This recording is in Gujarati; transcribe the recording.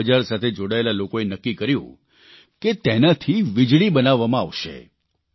શાકબજાર સાથે જોડાયેલા લોકોએ નક્કી કર્યું કે તેનાથી વીજળી બનાવવામાં આવશે